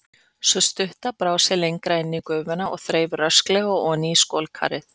Sú stutta brá sér lengra inn í gufuna og þreif rösklega oní skolkarið.